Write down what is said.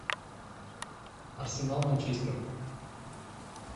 арсенал манчестер